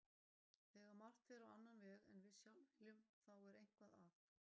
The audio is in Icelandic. Þegar margt fer á annan veg en við sjálf viljum þá er eitthvað að.